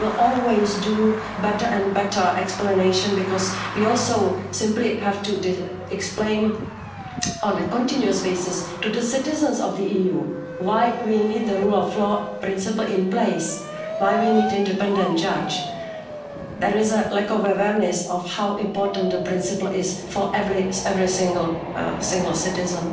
that. We will always make better and better explanations because we also simply have to explain on a continuous basis to the citizens of the EU why we need the rule of law principle in place, why we need an independent judge. There is a lack of awareness of how important the principle is for every single citizen.